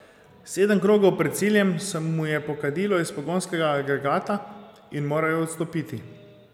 Sedem krogov pred ciljem se mu je pokadilo iz pogonskega agregata in moral je odstopiti.